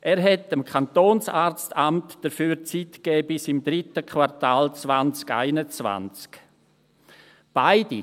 Er hat dem Kantonsarztamt dafür Zeit bis im dritten Quartal 2021 gegeben.